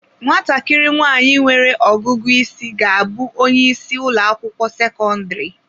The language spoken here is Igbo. Nwatakịrị nwanyị nwere ọgụgụ isi ga-abụ onye isi ụlọ akwụkwọ sekọndrị.